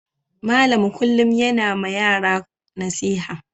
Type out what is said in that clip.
Malam kullum yana ma yaran nasiha.